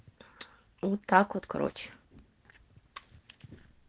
вот так вот короче